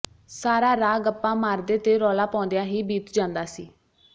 ਸਾਰਾ ਰਾਹ ਗੱਪਾਂ ਮਾਰਦੇ ਤੇ ਰੌਲਾ ਪਾਉਂਦਿਆਂ ਹੀ ਬੀਤ ਜਾਂਦਾ ਸੀ